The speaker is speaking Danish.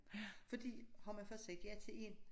Ja fordi har man først sagt ja til én